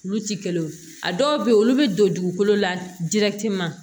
Olu ti kelen ye a dɔw be yen olu be don dugukolo la